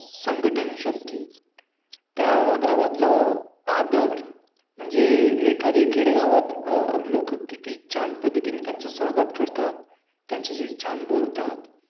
त्या गावातल आदर म्हणजे एखाद्या खेडेगावात अं लोक किती छान पद्धतीने स्वागत करतात त्यांच्याशी छान बोलतात संघटन शक्ती